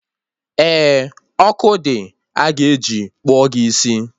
Eh, ọkụ dị, a ga-eji kpụọ gị isi